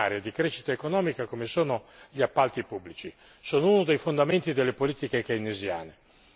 Noi dobbiamo valorizzare una leva straordinaria di crescita economica come sono gli appalti pubblici.